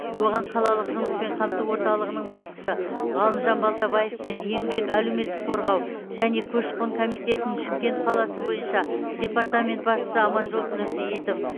оған қалалық жұмыспен қамту орталығының басшысы ғалымжан балтабаев пен еңбек әлеуметтік қорғау және көші қон комитетінің шымкент қаласы бойынша департамент басшысы аманжол нұрсейітов